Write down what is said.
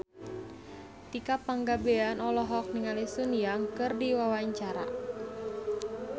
Tika Pangabean olohok ningali Sun Yang keur diwawancara